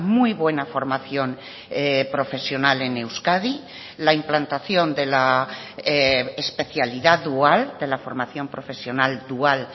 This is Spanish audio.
muy buena formación profesional en euskadi la implantación de la especialidad dual de la formación profesional dual